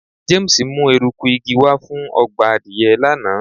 James mu eruku igi wa fun ọgbà adìye lana